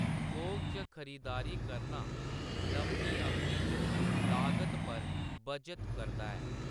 थोक च खरीदारी करना लम्मी अवधि च लागत पर बच्चत करदा ऐ।